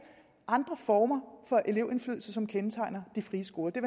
andre former for elevindflydelse som kendetegner de frie skoler det